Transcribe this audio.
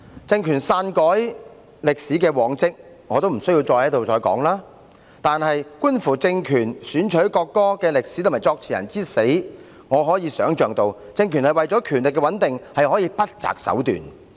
政權篡改歷史的往績，無須我在此多談，但觀乎政權選取國歌的歷史和作詞人之死，我可以想象到，政權為了權力的穩定，可以不擇手段。